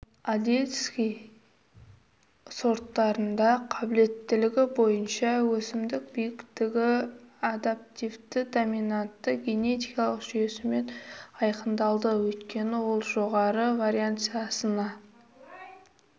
одесский сорттарында қабілеттілігі бойынша өсімдік биіктігі адаптивті-доминантты генетикалық жүйесімен айқындалды өйткені ол жоғары вариансасына